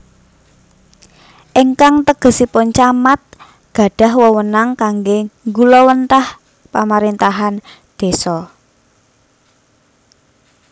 Ingkang tegesipun Camat gadhah wewenang kangge nggulawentah pamarintahan désa